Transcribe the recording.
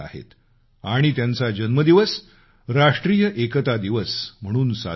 आणि त्यांचा जन्मदिवस राष्ट्रीय एकता दिवस म्हणून साजरा होतो